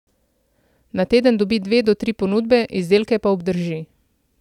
Na teden dobi dve do tri ponudbe, izdelke pa obdrži.